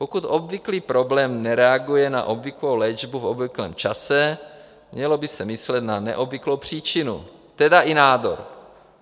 Pokud obvyklý problém nereaguje na obvyklou léčbu v obvyklém čase, mělo by se myslet na neobvyklou příčinu, tedy i nádor.